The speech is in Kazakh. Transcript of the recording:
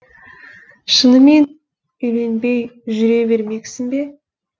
шынымен үйленбей жүре бермексің бе